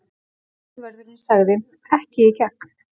Tollvörðurinn sagði: Ekki í gegn.